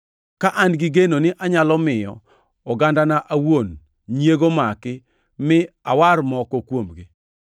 ka an gi geno ni anyalo miyo ogandana awuon nyiego maki mi awar moko kuomgi.